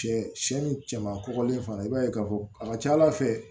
Sɛ sɛ sɛ sɛ ni cɛman kɔgɔlen fana i b'a ye k'a fɔ a ka ca ala fɛ